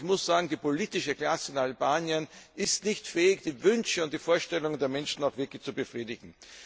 Ich muss sagen, die politische Klasse in Albanien ist nicht fähig, die Wünsche und die Vorstellungen der Menschen auch wirklich zu befriedigen.